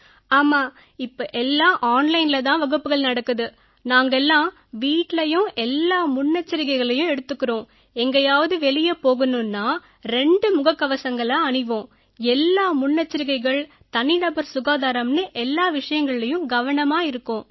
ஆமா இப்ப எல்லாம் ஆன்லைன்ல தான் வகுப்புகள் நடக்குது நாங்க எல்லாம் வீட்டுலயும் எல்லா முன்னெச்சரிக்கைகளையும் எடுத்துக்கறோம் எங்கயாவது வெளிய போகணும்னா ரெண்டு முகக்கவசங்களை அணிவோம் எல்லா முன்னெச்சரிக்கைகள் தனிநபர் சுகாதாரம்னு எல்லா விஷயங்கள்லயும் கவனமா இருக்கோம்